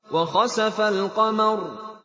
وَخَسَفَ الْقَمَرُ